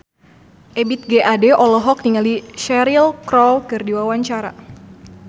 Ebith G. Ade olohok ningali Cheryl Crow keur diwawancara